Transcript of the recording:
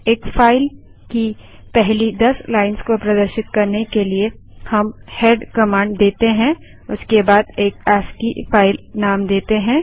एक फाइल की पहली 10 लाइन्स को प्रदर्शित करने के लिए हम हेड कमांड देते हैं उसके बाद एक अस्की फाइल नेम देते हैं